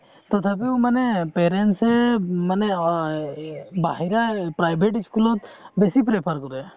তথাপিও মানে parents মানে অ এ বাহিৰা private school ত বেচি prefer কৰে